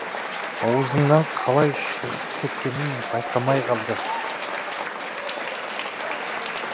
аузынан қалай шығып кеткенін байқамай қалды